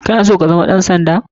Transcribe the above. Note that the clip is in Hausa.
Kana so kazama ɗan sanda?